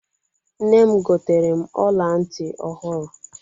Nne m goteere m ọla ntị ọhụrụ.